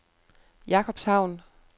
Jakobshavn